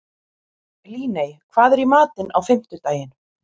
Líney, hvað er í matinn á fimmtudaginn?